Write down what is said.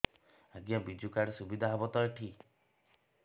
ଆଜ୍ଞା ବିଜୁ କାର୍ଡ ସୁବିଧା ହବ ତ ଏଠି